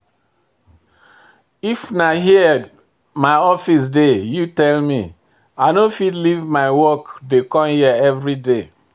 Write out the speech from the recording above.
If na here my office dey you tell me, i no fit leave my work dey come here everyday.